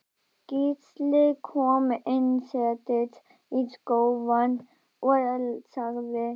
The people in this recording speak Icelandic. Gísli kom inn settist í sófann og sagði